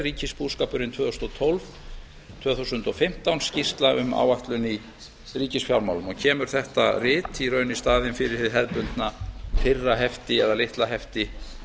ríkisbúskapurinn tvö þúsund og tólf til tvö þúsund og fimmtán skýrsla um áætlun í ríkisfjármálum og kemur þetta rit í raun í staðinn fyrir hið hefðbundna fyrra hefti eða litla hefti